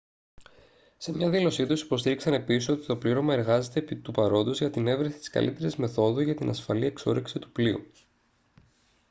σε μια δήλωσή τους υποστήριξαν επίσης ότι «το πλήρωμα εργάζεται επί του παρόντος για την εύρεση της καλύτερης μεθόδου για την ασφαλή εξόρυξη του πλοίου»